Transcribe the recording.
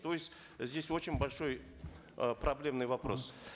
то есть здесь очень большой э проблемный вопрос